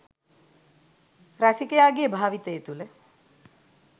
රසිකයාගේ භාවිතය තුළ